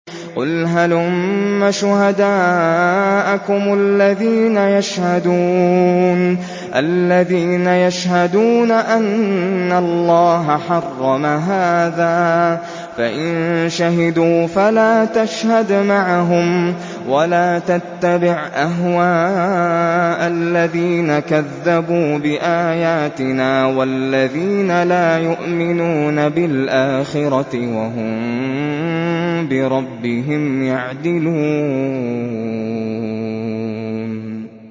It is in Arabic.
قُلْ هَلُمَّ شُهَدَاءَكُمُ الَّذِينَ يَشْهَدُونَ أَنَّ اللَّهَ حَرَّمَ هَٰذَا ۖ فَإِن شَهِدُوا فَلَا تَشْهَدْ مَعَهُمْ ۚ وَلَا تَتَّبِعْ أَهْوَاءَ الَّذِينَ كَذَّبُوا بِآيَاتِنَا وَالَّذِينَ لَا يُؤْمِنُونَ بِالْآخِرَةِ وَهُم بِرَبِّهِمْ يَعْدِلُونَ